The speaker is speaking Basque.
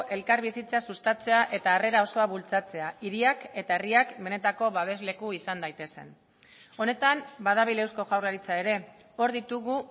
elkarbizitza sustatzea eta harrera osoa bultzatzea hiriak eta herriak benetako babesleku izan daitezen honetan badabil eusko jaurlaritza ere hor ditugu